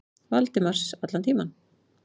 Valdimars allan tímann.